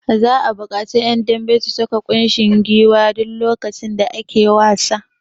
Za'a buƙaci ƴan dambe su saka kushin gwiwa duk lokacin da ake da wasa.